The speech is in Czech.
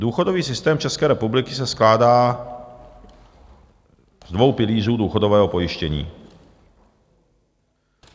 "Důchodový systém České republiky se skládá z dvou pilířů důchodového pojištění.